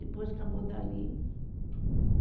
Depois acabou dali.